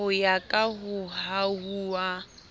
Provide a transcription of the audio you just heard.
ho ya ka ho hahuwa